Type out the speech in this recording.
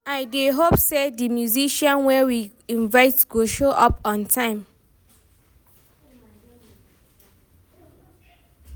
I dey hope sey di musicians wey we invite go show up on time